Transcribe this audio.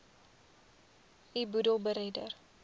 u boedel beredder